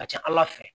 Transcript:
Ka ca ala fɛ